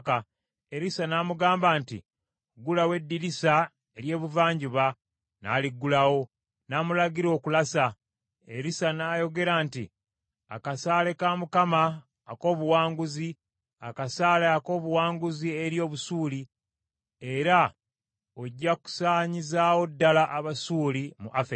Erisa n’amugamba nti, “Ggulawo eddirisa ery’ebuvanjuba,” n’aliggulawo. N’amulagira okulasa. Erisa n’ayogera nti, “Akasaale ka Mukama ak’obuwanguzi, akasaale ak’obuwanguzi eri Obusuuli, era ojja kusaanyizaawo ddala Abasuuli mu Afeki.”